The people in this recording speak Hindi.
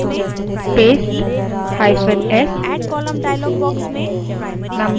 hyphen s paste करें